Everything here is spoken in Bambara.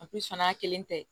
A kun fana y'a kelen ta ye